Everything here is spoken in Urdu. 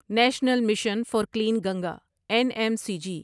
national mission for clean Ganga N M C G